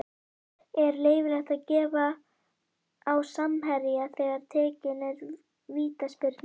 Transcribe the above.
Er leyfilegt að gefa á samherja þegar tekin er vítaspyrna?